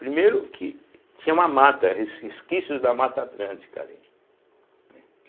Primeiro que tinha uma mata, res resquícios da mata atlântica ali.